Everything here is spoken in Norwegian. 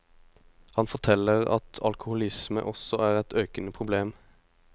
Han forteller at alkoholisme også er et økende problem.